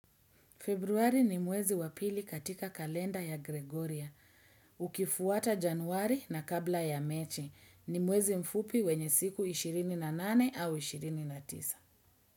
Februari ni mwezi wa pili katika kalenda ya Gregoria. Ukifuata januari na kabla ya mechi ni mwezi mfupi wenye siku 28 au 29.